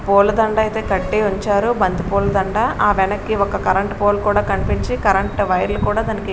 పూల దండ అయితే కట్టి ఉంచారు బంతిపూల దండ. ఆ వెనక్కి ఒక కరెంట్ పోల్ కూడా కనిపించి కరెంట్ వైర్ లు కూడా దానికి--